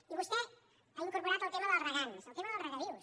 i vostè ha incorporat el tema dels regants el tema dels regadius